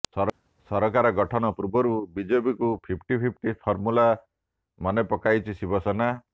ସରକାର ଗଠନ ପୂର୍ବରୁ ବିଜେପିକୁ ଫିଫ୍ଟି ଫିଫ୍ଟି ଫର୍ମୂଲା ମନେପକାଇଛି ଶିବସେନା